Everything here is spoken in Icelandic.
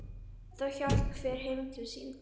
Þá hélt hver heim til sín.